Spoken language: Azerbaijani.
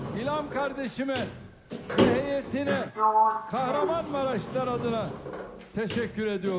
İlham qardaşıma və heyətinə Kahramanmaraşdan adına təşəkkür edirəm.